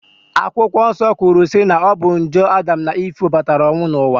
Akwụkwọ Nsọ kwuru si na ọ bụ njọ na Adam na Ive webatara ọnwụ n'ụwa